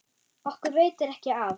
Okkur veitir ekki af.